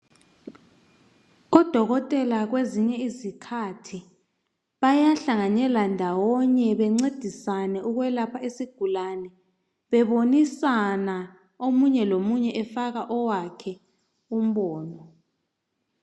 Odokotela kwezinye izikhathi bayahlanganela ndawonye bencedisane ukwelapha isigulane, bebonisana, omunye lomunye efaka owakhe umbono.